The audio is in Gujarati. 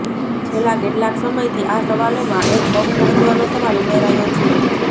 છેલ્લા કેટલાક સમયથી આ સવાલોમાં એક બહુ મહત્વનો સવાલ ઉમેરાયો છેઃ